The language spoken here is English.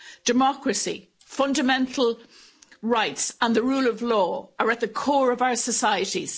Democracy, fundamental rights and the rule of law, are at the core of our societies.